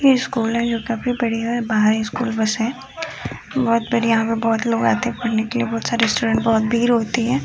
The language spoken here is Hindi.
ये स्कूल है जो काफ़ी बड़ी है। बाहर एक स्कूल बस है। बहोत बड़ी यहां पे बहोत लोग आते है पढने के लिए। बहोत सारे स्टूडेंट बहोत भीर होती है।